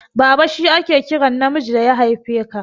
Baba shi ake kiran namiji da ya haife ka.